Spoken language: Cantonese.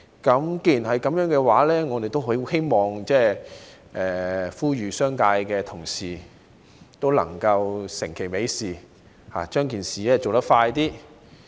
既然如此，我希望呼籲商界同事能夠成其美事，盡快完成這件事。